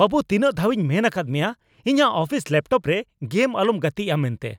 ᱵᱟᱹᱵᱩ, ᱛᱤᱱᱟᱹᱜ ᱫᱷᱟᱣᱤᱧ ᱢᱮᱱ ᱟᱠᱟᱫ ᱢᱮᱭᱟ ᱤᱧᱟᱜ ᱚᱯᱷᱤᱥ ᱞᱮᱯᱴᱚᱯ ᱨᱮ ᱜᱮᱢ ᱟᱞᱚᱢ ᱜᱟᱛᱤᱜᱼᱟ ᱢᱮᱱᱛᱮ ?